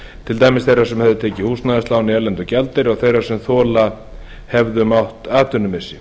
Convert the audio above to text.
til dæmis þeirra sem tekið hefðu húsnæðislán í erlendum gjaldeyri og þeirra sem þola hefðu mátt atvinnumissi